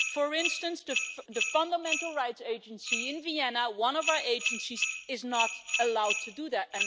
For instance, the Fundamental Rights Agency in Vienna, one of our agencies, is not allowed to do that.